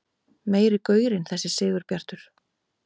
Meiri gaurinn þessi Sigurbjartur!